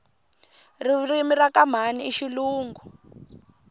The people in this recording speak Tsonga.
ririmi rakamhani ishilungu